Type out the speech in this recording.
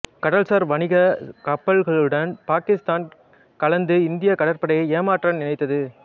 கடல்சார் வணிக கப்பல்களுடன் பாகிஸ்தான் கலந்து இந்திய கடற்படையை ஏமாற்ற நினைத்தது